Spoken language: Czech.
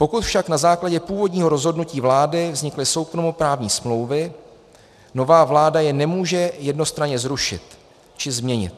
Pokud však na základě původního rozhodnutí vlády vznikly soukromoprávní smlouvy, nová vláda je nemůže jednostranně zrušit či změnit.